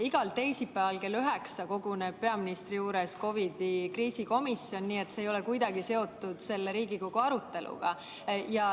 Igal teisipäeval kell üheksa koguneb peaministri juures COVID‑i kriisikomisjon, see ei ole kuidagi seotud selle Riigikogu aruteluga.